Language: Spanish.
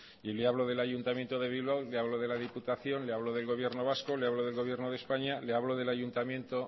y le hablo del ayuntamiento de bilbao le hablo de la diputación le hablo del gobierno vasco le hablo del gobierno de españa le hablo del ayuntamiento